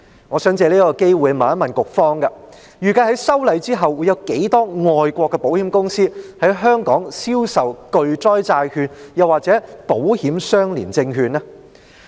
我想藉此機會一問，局方預計在修例後會有多少外國的保險公司在香港銷售巨災債券或保險相連證券呢？